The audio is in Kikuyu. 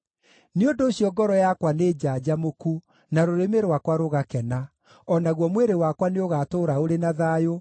Nĩ ũndũ ũcio ngoro yakwa nĩnjanjamũku, na rũrĩmĩ rwakwa rũgakena; o naguo mwĩrĩ wakwa nĩ ũgaatũũra ũrĩ na thayũ,